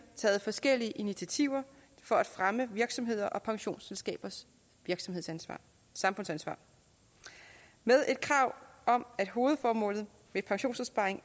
taget forskellige initiativer for at fremme virksomheders og pensionsselskabers samfundsansvar med et krav om at hovedformålet med pensionsopsparing